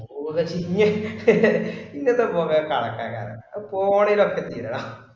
പോതട് ഇഞയെ ഇങ്ങത്തെ കൊറേ കണക്കാര് ആണ് അത് phone ലൊക്കെ ചെയ്തട